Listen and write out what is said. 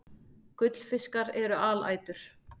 Gullfiskar eru alætur.